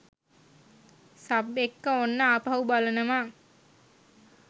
Sub එක්ක ඔන්න ආපහු බලනවා.